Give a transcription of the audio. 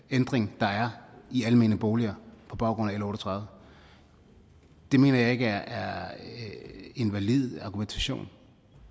ændring der er i almene boliger på baggrund af l og tredive det mener jeg ikke er en valid argumentation